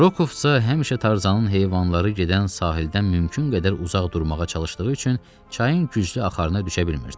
Rokovsa həmişə Tarzanın heyvanları gedən sahildən mümkün qədər uzaq durmağa çalışdığı üçün çayın güclü axarına düşə bilmirdi.